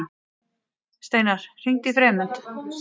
Steinar, hringdu í Freymund.